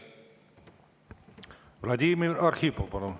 Vladimir Arhipov, palun!